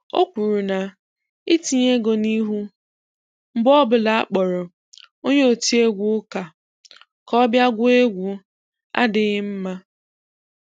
O kwuru na ị tinye ego n'ihu mgbe ọbụla a kpọrọ onye otiewgu ụka ka ọ bịa gụọ egwu adịghị mma